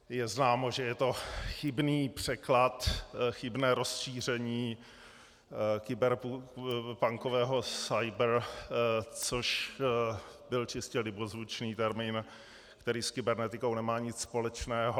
Je známo, že je to chybný překlad, chybné rozšíření kyberpunkového cyber, což byl čistě libozvučný termín, který s kybernetikou nemá nic společného.